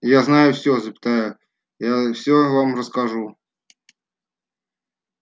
я знаю все запятая я все вам расскажу